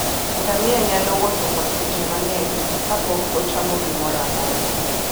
Ngamia nyalo wuotho kuom seche mang'eny ka pok ochamo gimoro amora.